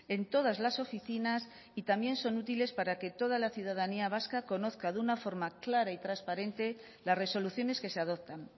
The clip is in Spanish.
en todas las oficinas y también son útiles para que toda la ciudadanía vasca conozca de una forma clara y transparente las resoluciones que se adoptan